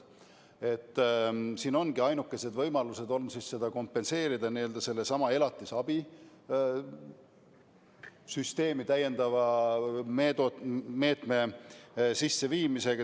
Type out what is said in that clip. Siin ongi ainuke võimalus seda kompenseerida n-ö sellesama elatisabi süsteemi täiendava meetme sisseviimisega.